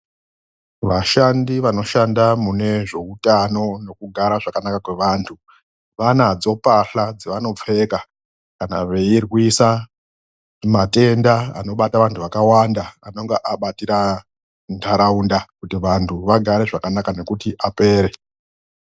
VASHANDI VANOSHANDA MUNE ZVEUTANO NEKUGARA ZVAKANAKA KWEVANHU VANADZO MBAHLA DZAVANOPFEKA KANA VEIRWISA MATENDA ANOBATA VANTU VAKAWANDA, ANONGA ABATIRA NHARAUNDA KUTI VANTU VAGARE ZVAKANAKA NEKUTI APERE.